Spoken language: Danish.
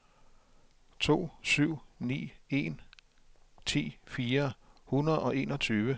to syv ni en ti fire hundrede og enogtyve